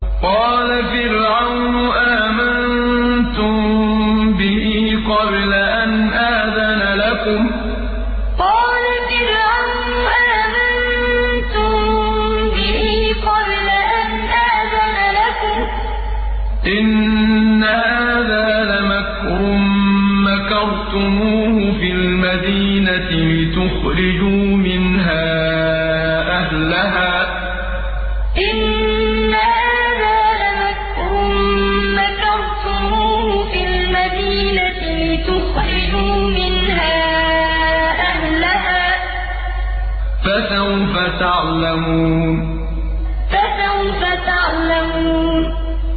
قَالَ فِرْعَوْنُ آمَنتُم بِهِ قَبْلَ أَنْ آذَنَ لَكُمْ ۖ إِنَّ هَٰذَا لَمَكْرٌ مَّكَرْتُمُوهُ فِي الْمَدِينَةِ لِتُخْرِجُوا مِنْهَا أَهْلَهَا ۖ فَسَوْفَ تَعْلَمُونَ قَالَ فِرْعَوْنُ آمَنتُم بِهِ قَبْلَ أَنْ آذَنَ لَكُمْ ۖ إِنَّ هَٰذَا لَمَكْرٌ مَّكَرْتُمُوهُ فِي الْمَدِينَةِ لِتُخْرِجُوا مِنْهَا أَهْلَهَا ۖ فَسَوْفَ تَعْلَمُونَ